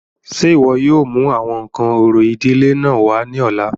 Ṣé iwọ yóò mu awọn nkan orȯ idile náà wa ni ọla?